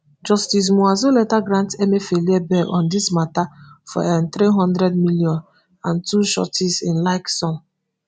justice muazu later grant emefiele bail on dis mata for nthree hundred million and two sureties in like sum.